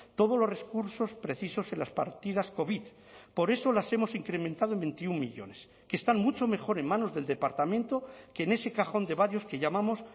todos los recursos precisos en las partidas covid por eso las hemos incrementado en veintiuno millónes que están mucho mejor en manos del departamento que en ese cajón de varios que llamamos